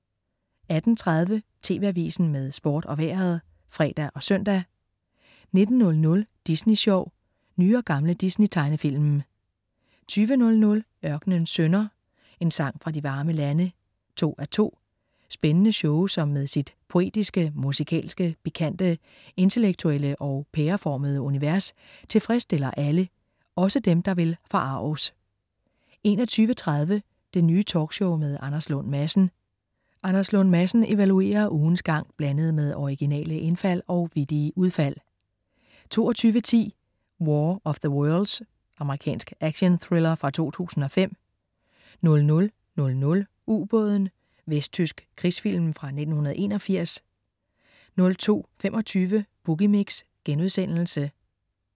18.30 TV Avisen med Sport og Vejret (fre og søn) 19.00 Disney Sjov. Nye og gamle Disney-tegnefilm 20.00 Ørkenens Sønner: En sang fra de varme lande 2:2. spændende show, som med sit poetiske, musikalske, pikante, intellektuelle og pæreformede univers tilfredsstiller alle - også dem der vil forarges 21.30 Det Nye Talkshow med Anders Lund Madsen. Anders Lund Madsen evaluerer ugens gang blandet med originale indfald og vittige udfald 22.10 War of the worlds. Amerikansk actionthriller fra 2005 00.00 U-båden. Vesttysk krigsfilm fra 1981 02.25 Boogie Mix*